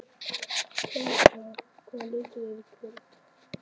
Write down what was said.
Kjallakur, hvaða leikir eru í kvöld?